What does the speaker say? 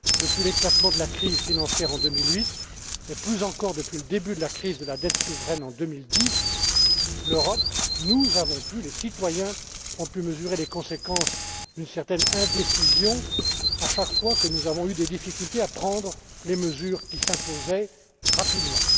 bancaire. Depuis l'éclatement de la crise financière, en 2008, et plus encore depuis le début de la crise de la dette souveraine, en 2010, l'Europe a pu, nous avons pu, les citoyens ont pu mesurer les conséquences d'une certaine indécision à chaque fois que nous avons eu des difficultés à prendre les mesures qui s'imposaient rapidement.